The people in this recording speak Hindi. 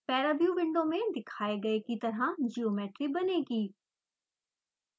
paraview विंडो में दिखाए गए की तरह ज्योमेट्री बनेगी